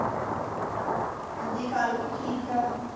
ਹਾਂਜੀ ਕਾਲੀ ਵੀ ਠੀਕ ਏ।